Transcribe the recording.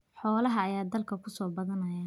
Xoolaha ayaa dalka ku soo badanaya.